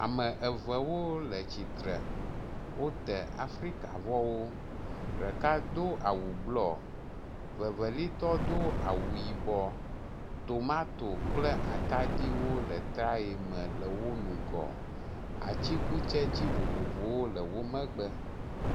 Ame evewo le tsitre, wote afrikavɔwo, ɖeka do awu blɔ, evelia tɔ do awu yibɔ, tomato kple atadi wo le etraye me le wo ŋgɔ. Atsikutsetsi vovovowo le wo megbe.